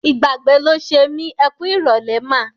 Ìgbàgbé ló ṣe mí. Ẹ kú ìrọ̀lẹ́ mà.